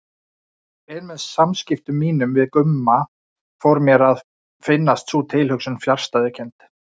En með samskiptum mínum við Gumma fór mér að finnast sú tilhugsun fjarstæðukennd.